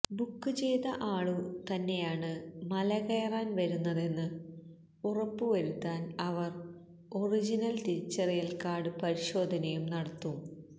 book ചെയ്ത ആളു തന്നെയാണ് മലകയറാന് വരുന്നതെന്ന് ഉറപ്പുവരുത്താന് അവര് ഒറിജിനല് തിരിച്ചറിയല് കാര്ഡ് പരിശോധനയും നടത്തും